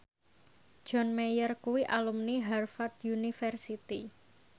John Mayer kuwi alumni Harvard university